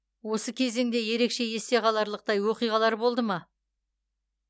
осы кезеңде ерекше есте қаларлықтай оқиғалар болды ма